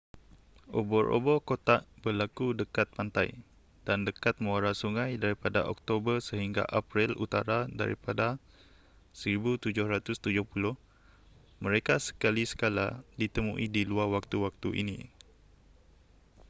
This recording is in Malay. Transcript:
ubur-ubur kotak berlaku dekat pantai dan dekat muara sungai daripada oktober sehingga april utara daripada 1770 mereka sekali sekala ditemui di luar waktu-waktu ini